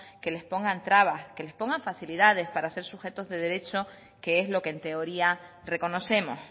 que les pongan trabas que les pongan facilidades para ser sujetos de derechos que es lo que en teoría reconocemos